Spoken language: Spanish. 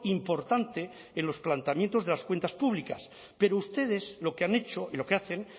importante en los planteamientos de las cuentas públicas pero ustedes lo que han hecho y lo que hacen